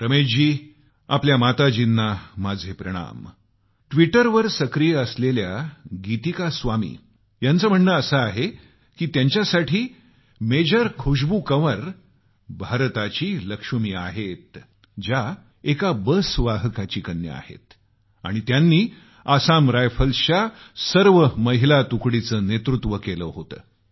रमेशजी आपल्या माताजींना माझे प्रणाम ट्विटरवर सक्रीय असलेल्या गीतिका स्वामी यांचं म्हणणं असं आहे की त्यांच्यासाठी मेजर खुशबू कंवर भारताची लक्ष्मी आहेत ज्या एका बस वाहकाची कन्या आहेत आणि त्यांनी आसाम रायफल्सच्या सर्व महिला तुकडीचं नेतृत्व केल होतं